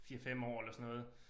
4 5 år eller sådan noget